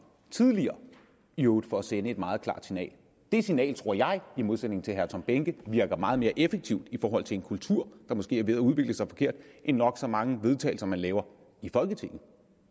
tidligere i øvrigt for at sende et meget klart signal det signal tror jeg i modsætning til herre tom behnke virker meget mere effektivt i forhold til en kultur der måske er ved at udvikle sig forkert end nok så mange vedtagelser man laver i folketinget